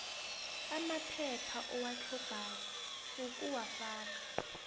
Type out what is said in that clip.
amaphepha owatlhogako ukuwafaka